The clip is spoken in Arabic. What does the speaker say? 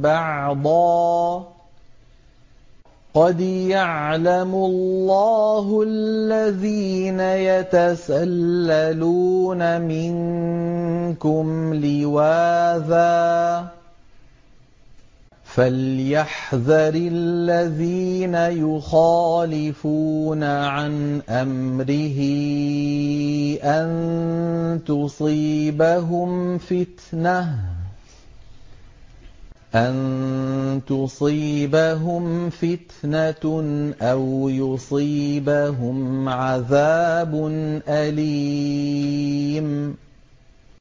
بَعْضًا ۚ قَدْ يَعْلَمُ اللَّهُ الَّذِينَ يَتَسَلَّلُونَ مِنكُمْ لِوَاذًا ۚ فَلْيَحْذَرِ الَّذِينَ يُخَالِفُونَ عَنْ أَمْرِهِ أَن تُصِيبَهُمْ فِتْنَةٌ أَوْ يُصِيبَهُمْ عَذَابٌ أَلِيمٌ